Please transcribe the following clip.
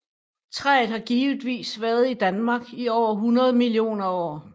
Træet har givetvis været i Danmark i over 100 millioner år